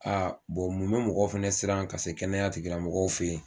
mun bɛ mɔgɔ fana siran ka se kɛnɛya tigi lamɔgɔw fɛ ye?